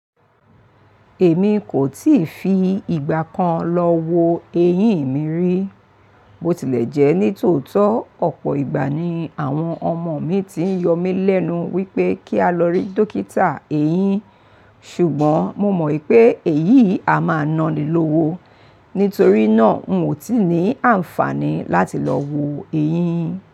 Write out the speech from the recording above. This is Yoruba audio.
Èmi kò tíì fi ìgbà kan lọ wo eyín mi rí. Bó tilẹ̀ jẹ́ ní tòótọ́, ọ̀pọ̀ ìgbà ni àwọn ọmọ mi ti ń yọ mí lẹ́nu wípé kí a lọ rí Dókítà eyín, ṣùgbọ́n mo mọ̀ pé èyí a máa naní lówó. Nítorí náà, n ò tí ì ní àǹfààní láti lọ wo eyín.